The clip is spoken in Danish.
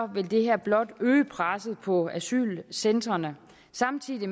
vil det her blot øge presset på asylcentrene samtidig